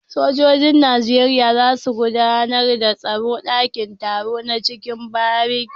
Sojojin nigeria zasu gudAnar da taro a dakin taro na ciki bariki